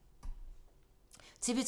TV 2